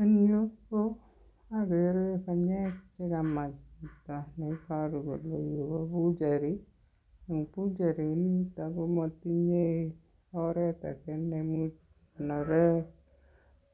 En yu ko ogere che kamaa chito ne iboru kole yu ko butchery. Butchery inito komotinye oret age neimuch kegonren